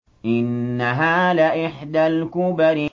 إِنَّهَا لَإِحْدَى الْكُبَرِ